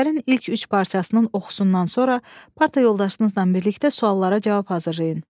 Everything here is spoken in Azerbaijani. Əsərin ilk üç parçasının oxusundan sonra parta yoldaşınızla birlikdə suallara cavab hazırlayın.